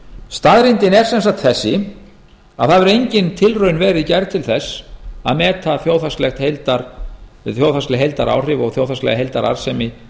staðreyndin er sem sagt þessi að það hefur engin tilraun verið gerð til til þess að meta þjóðhagsleg heildaráhrif og þjóðhagslega heildararðsemi